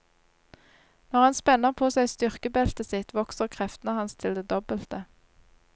Når han spenner på seg styrkebeltet sitt, vokser kreftene hans til det dobbelte.